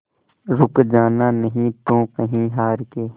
रुक जाना नहीं तू कहीं हार के